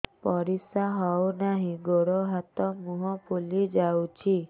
ପରିସ୍ରା ହଉ ନାହିଁ ଗୋଡ଼ ହାତ ମୁହଁ ଫୁଲି ଯାଉଛି